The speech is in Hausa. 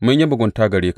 Mun yi mugunta gare ka.